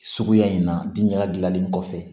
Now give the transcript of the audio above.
Suguya in na diɲɛ ladilanlen kɔfɛ